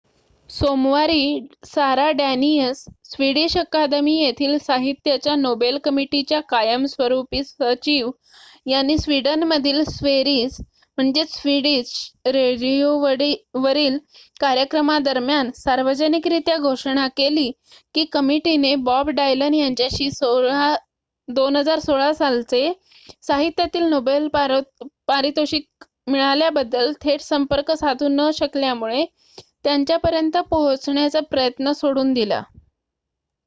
सोमवारी Sara Danius Swedish academy येथील साहित्याच्या नोबेल कमिटीच्या कायमस्वरूपी सचिव यांनी स्विडनमधील स्वेरीज स्विडिश रेडिओवरील कार्यक्रमादरम्यान सार्वजनिकरीत्या घोषणा केली की कमिटीने बॉब डायलन यांच्याशी २०१६ सालचे साहित्यातील नोबेल पारितोषिक मिळाल्याबद्दल थेट संपर्क साधू न शकल्यामुळे त्यांच्यापर्यंत पोहोचण्याचा प्रयत्न सोडून दिला